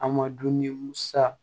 A ma dumuni sa